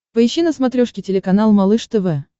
поищи на смотрешке телеканал малыш тв